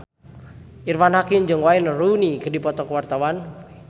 Irfan Hakim jeung Wayne Rooney keur dipoto ku wartawan